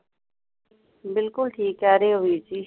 ਬਿੱਲਕੁੱਲ ਠੀਕ ਕਹਿ ਰਹੇ ਹੋ ਵੀਰ ਜੀ